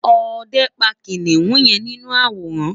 òde pa kiniun yen ninu aworan